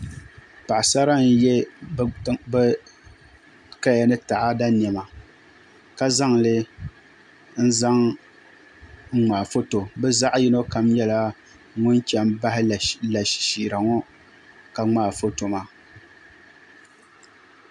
paɣisara n-ye bɛ kaya ni taɣada nema ka zaŋ li n-zaŋ ŋmaai foto bɛ zaɣ' yino kam nyɛla ŋun che m-bahi lashishiira ŋɔ ka ŋmaai foto maa